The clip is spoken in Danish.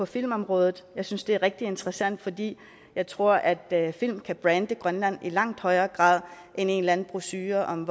filmområdet jeg synes det er rigtig interessant fordi jeg tror at film kan brande grønland i langt højere grad end en eller anden brochure om